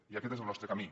i aquest és el nostre camí